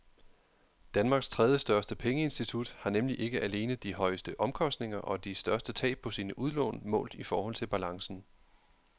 Danmarks tredjestørste pengeinstitut har nemlig ikke alene de højeste omkostninger og de største tab på sine udlån målt i forhold til balancen.